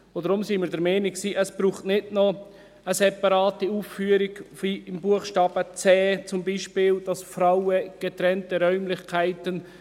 Deshalb waren wir der Meinung, es brauche nicht noch eine separate Ausführung, wie beispielsweise im Buchstaben c, «für Frauen getrennte Räumlichkeiten».